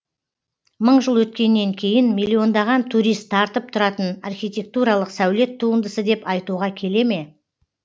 мың жыл өткеннен кейін миллиондаған турист тартып тұратын архитектуралық сәулет туындысы деп айтуға келе ме